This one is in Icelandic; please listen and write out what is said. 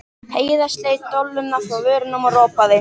Heiða sleit dolluna frá vörunum og ropaði.